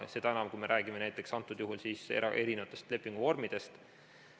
Seda enam, kui me räägime näiteks erinevatest lepinguvormidest.